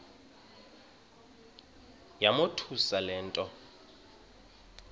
yamothusa le nto